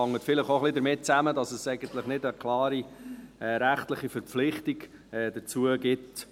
Dies hängt vielleicht auch ein wenig damit zusammen, dass es keine klare rechtliche Verpflichtung dazu gibt.